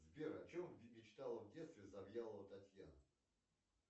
сбер о чем мечтала в детстве завьялова татьяна